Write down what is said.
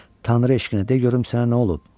Tanrı eşqinə de görüm sənə nə olub?